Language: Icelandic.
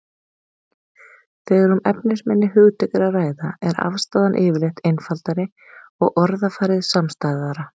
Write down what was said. Þegar um efnisminni hugtök er að ræða er afstaðan yfirleitt einfaldari og orðafarið samstæðara.